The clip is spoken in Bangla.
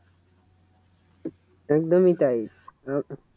একদমই তাই